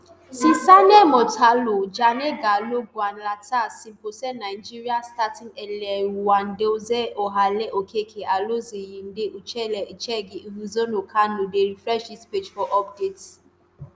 cesane motlhalo jane kgaole kgatlana seoposenwe nigeris starting eleven nnadozie ohale okeke alozie yinde ucheibe echegini ihezuo kanu dey refresh dis page for updates